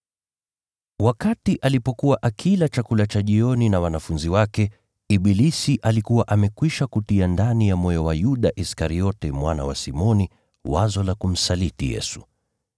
Wakati alipokuwa akila chakula cha jioni na wanafunzi wake, ibilisi alikuwa amekwisha kutia ndani ya moyo wa Yuda Iskariote, mwana wa Simoni, wazo la kumsaliti Yesu.